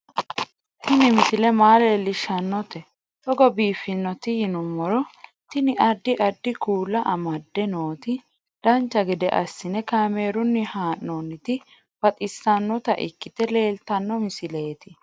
Tini misile maa leellishshannote togo biiffinoti yinummoro tini. addi addi kuula amadde nooti dancha gede assine kaamerunni haa'noonniti baxissannota ikkite leeltanno misileeti